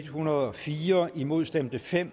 hundrede og fire imod stemte fem